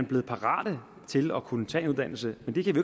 blevet parate til at kunne tage en uddannelse men det kan vi